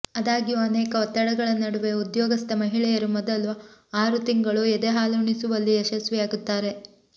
ಆದಾಗ್ಯೂ ಅನೇಕ ಒತ್ತಡಗಳ ನಡುವೆ ಉದ್ಯೋಗಸ್ಥ ಮಹಿಳೆಯರು ಮೊದಲ ಆರು ತಿಂಗಳು ಎದೆಹಾಲುಣಿಸುವಲ್ಲಿ ಯಶಸ್ವಿಯಾಗುತ್ತಾರೆ